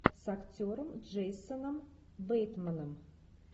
с актером джейсоном бейтманом